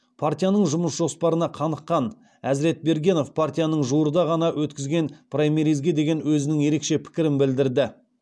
партияның жұмыс жоспарына қаныққан әзіретбергенов партияның жуырда ғана өткізген праймеризге деген өзінің ерекше пікірін білдірді